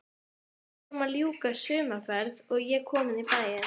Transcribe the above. Við vorum að ljúka sumarferð og ég kominn í bæinn.